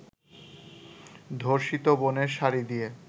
ধর্ষিত বোনের শাড়ি দিয়ে